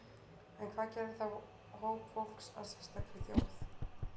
En hvað gerði þá hóp fólks að sérstakri þjóð?